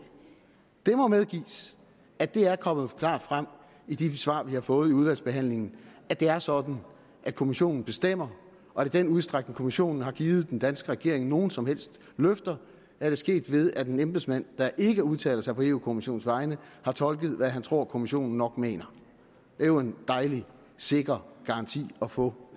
det må medgives at det er kommet klart frem i de svar vi har fået i udvalgsbehandlingen at det er sådan at kommissionen bestemmer og i den udstrækning kommissionen har givet den danske regering nogen som helst løfter er det sket ved at en embedsmand der ikke udtaler sig på eu kommissionens vegne har tolket hvad han tror kommissionen nok mener det er jo en dejlig sikker garanti at få